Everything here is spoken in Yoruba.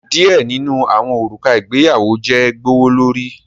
Some wedding rings are expensive